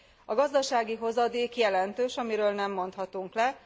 A gazdasági hozadék jelentős, amiről nem mondhatunk le.